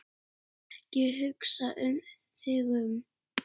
Ekki hugsa þig um.